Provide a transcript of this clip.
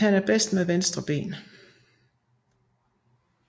Han er bedst med venstre ben